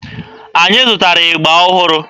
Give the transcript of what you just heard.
Anyị zụtara ịgba ọhụrụ.